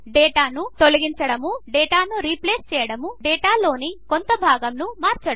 డేటాను తొలగించడము డేటాను రీప్లేస్ చేయడము డేటాలోని కొంత భాగమును మార్చడము